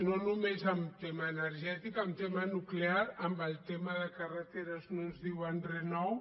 no només amb tema energètic amb tema nuclear amb el tema de carreteres no ens diuen re nou